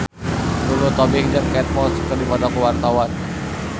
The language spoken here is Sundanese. Lulu Tobing jeung Kate Moss keur dipoto ku wartawan